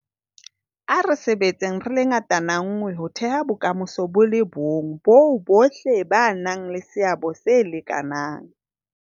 A re sebetseng re le ngatana nngwe ho theha bokamoso bo le bong boo bohle ba nang le seabo se lekanang.